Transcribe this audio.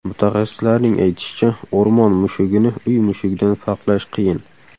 Mutaxassislarning aytishicha, o‘rmon mushugini uy mushugidan farqlash qiyin.